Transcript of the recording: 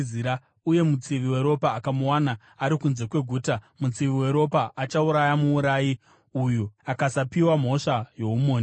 uye mutsivi weropa akamuwana ari kunze kweguta, mutsivi weropa achauraya muurayi uyu akasapiwa mhosva youmhondi.